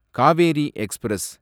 Kaveri express